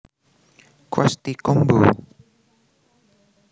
Krusty Combo